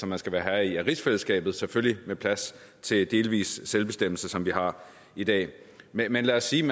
man skal være herre i er rigsfællesskabet selvfølgelig med plads til delvis selvbestemmelse som vi har i dag men lad os sige